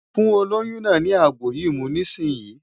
Fún olóyún náà ní àgbo yìí mu nísìnyín!